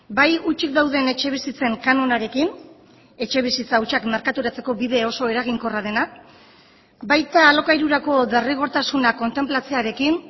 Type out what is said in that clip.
bai hutsik dauden etxebizitzen kanonarekin etxebizitza hutsak merkaturatzeko bide oso eraginkorra dena baita alokairurako derrigortasuna kontenplatzearekin